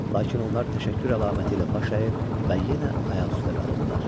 Lakin onlar təşəkkür əlaməti ilə baş əyir və yenə ayaq üstə qalırdılar.